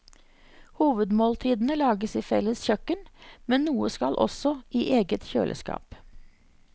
Hovedmåltidene lages i felles kjøkken, men noe skal også i eget kjøleskap.